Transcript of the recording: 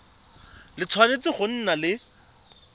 le tshwanetse go nna le